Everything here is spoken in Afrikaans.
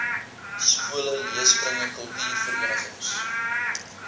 skole leeskringe kultuurverenigings